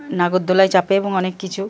নাগোর দোলায় চাপে এবং অনেককিছু ।